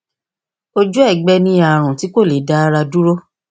ojú ẹgbẹ ni àrùn tí kò lè dá ara dúró